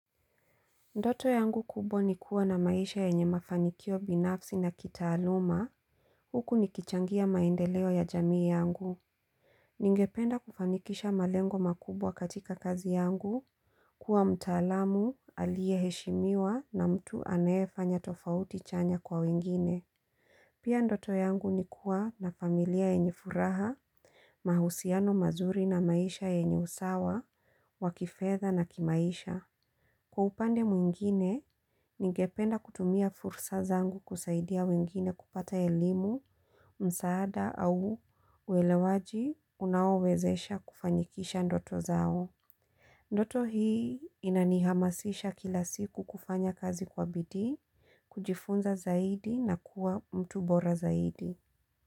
Ndoto yangu kubwa ni kuwa na maisha yenye mafanikio binafsi na kitaaluma huku nikichangia maendeleo ya jamii yangu Ningependa kufanikisha malengo makubwa katika kazi yangu kuwa mtaalamu aliyeheshimiwa na mtu anayefanya tofauti chanya kwa wengine Pia ndoto yangu ni kuwa na familia yenye furaha, mahusiano mazuri na maisha yenye usawa, wa kifedha na kimaisha Kwa upande mwingine, ningependa kutumia fursa zangu kusaidia wengine kupata elimu, msaada au uelewaji unaowezesha kufanikisha ndoto zao. Ndoto hii inanihamasisha kila siku kufanya kazi kwa bidii, kujifunza zaidi na kuwa mtu bora zaidi.